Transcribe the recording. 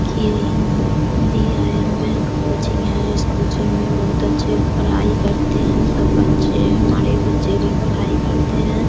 की यहाँ the AIM. Bank coaching है इस कोचिंग में बहुत अच्छे पढ़ाई करते है सब बच्चे हमारे बच्चे भी पढ़ाई करते हैं।